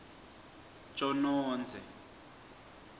tjonodze